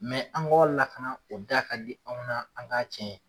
an k'ɔ lakana o da ka di anw na an k'a tiɲɛ ye.